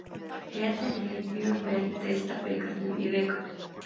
Eden lék mjög vel í deildabikarnum í vikunni.